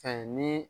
Fɛn ni